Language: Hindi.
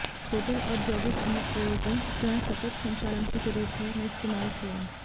रोटर औद्योगिक अनुप्रयोगों जहां सतत संचालन की जरूरत है में इस्तेमाल किया